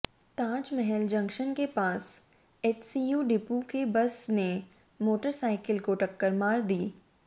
Taj Mahal junction के पास HCU depot की बस ने मोटरसाइकिल को टक्कर मार दी